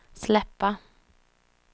släppa